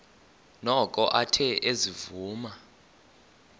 noko athe ezivuma